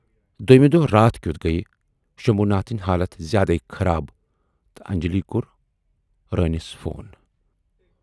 دویمہِ دۅہہ راتھ کیُتھ گٔیہِ شمبھوٗ ناتھٕنۍ حالتھ زیادے خراب تہٕ انجلی کور روٗنِس فون۔